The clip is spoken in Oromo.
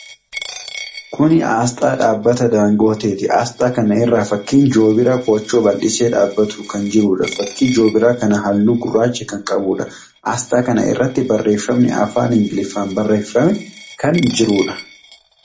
Kuni aasxaa dhaabbata Daangooteti. Aasxaa kana irra fakkiin Joobiraa koochoo bal'isee dhaabbatuu kan jiruudha. Fakkiin Joobiraa kanaa haalluu gurraacha kan qabuudha. Aasxaa kana irratti barreeffamni afaan Ingiliffaa barreeffamee kan jiruudha.